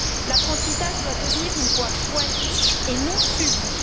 L'apprentissage doit devenir une voie choisie et non subie.